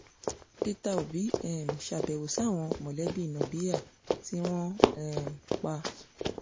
peter òbí um ṣàbẹ̀wò sáwọn mọ̀lẹ́bí nabéèhà tí wọ́n um pa